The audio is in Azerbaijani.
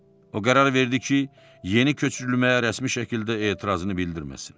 O qərar verdi ki, yeni köçürülməyə rəsmi şəkildə etirazını bildirməsin.